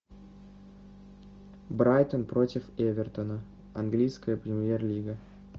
брайтон против эвертона английская премьер лига